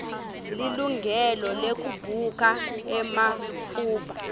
lilungelo lekubuka ematfuba